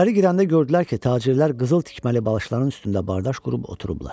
İçəri girəndə gördülər ki, tacirlər qızıl tikməli balışların üstündə bardaş qurub oturublar.